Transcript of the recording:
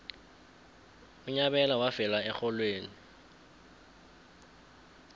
unyabela wafela erholweni